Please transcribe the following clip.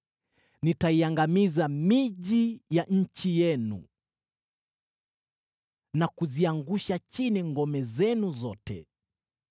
Nitaiangamiza miji ya nchi yenu na kuziangusha chini ngome zenu zote.